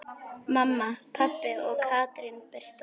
Mamma, pabbi og Katrín Birta.